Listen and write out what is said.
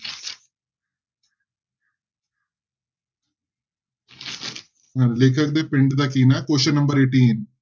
ਅਹ ਲੇਖਕ ਦੇ ਪਿੰਡ ਦਾ ਕੀ ਨਾਂ ਹੈ question number eighteen